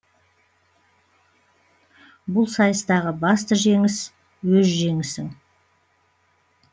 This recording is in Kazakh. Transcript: бұл сайыстағы басты жеңіс өз жеңісің